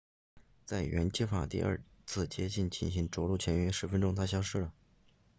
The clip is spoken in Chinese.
在原计划第二次接近进行着陆前约十分钟它消失了